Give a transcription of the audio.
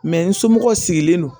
n somɔgɔ sigilen don